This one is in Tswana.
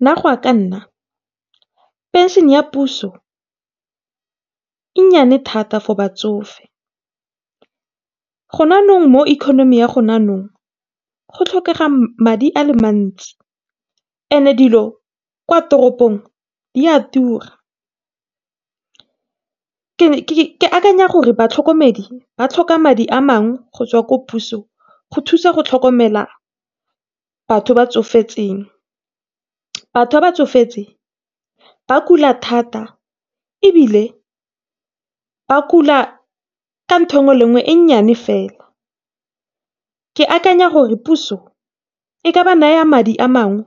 Nna goa ka nna phenšhene ya puso e nnyane thata for batsofe, mo ikonimi ya go tlhokega madi a le mantsi and-e dilo kwa tropong di a tura. Ke akanya gore batlhokomedi ba tlhoka madi a mangwe gotswa ko pusong go thusa go tlhokomela batho ba tsofetseng. Batho ba ba tsofetseng ba kula thata ebile ba kula ka ntho engwe le engwe e nnyane fela. Ke akanya gore puso e ka ba naya madi amangwe